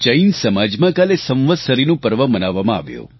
જૈન સમાજમાં કાલે સંવત્સરીનું પર્વ મનાવવામાં આવ્યું